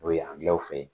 O ye angilɛw fe ye